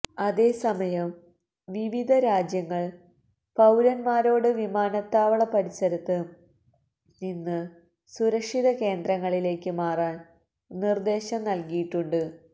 അതേസമയം വിവിധ രാജ്യങ്ങൾ പൌരന്മാരോട് വിമാനത്താവള പരിസരത്ത് നിന്ന് സുരക്ഷിത കേന്ദ്രങ്ങളിലേക്ക് മാറാൻ നിർദേശം നൽകിയിട്ടുണ്ട്